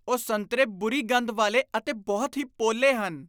ਉਹ ਸੰਤਰੇ ਬੁਰੀ ਗੰਧ ਵਾਲੇ ਅਤੇ ਬਹੁਤ ਹੀ ਪੋਲੇ ਹਨ